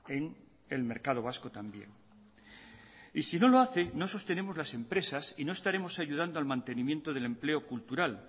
en el mercado vasco también y si no lo hace no sostenemos las empresas y no estaremos ayudando al mantenimiento del empleo cultural